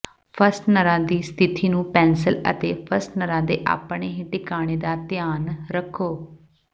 ਫਸਟਨਰਾਂ ਦੀ ਸਥਿਤੀ ਨੂੰ ਪੈਨਸਿਲ ਅਤੇ ਫਸਟਨਰਾਂ ਦੇ ਆਪਣੇ ਹੀ ਟਿਕਾਣੇ ਦਾ ਧਿਆਨ ਰੱਖੋ